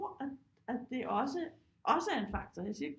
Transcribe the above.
At at det også er en faktor jeg siger ikke